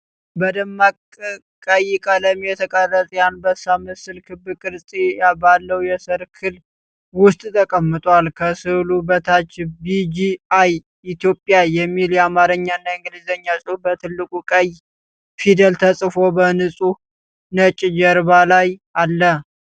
በደማቅ ቀይ ቀለም የተቀረጸ የአንበሳ ምስል ክብ ቅርጽ ባለው የሰርክል ውስጥ ተቀምጧል። ከሥዕሉ በታች “ቢ.ጂ.አይ ኢትዮጵያ” የሚል የአማርኛና የእንግሊዝኛ ጽሑፍ በትልቁ ቀይ ፊደል ተጽፎ በንጹህ ነጭ ጀርባ ላይ አለ።